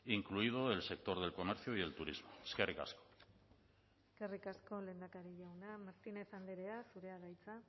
incluido el sector del comercio y el turismo eskerrik asko eskerrik asko lehendakari jauna martínez andrea zurea da hitza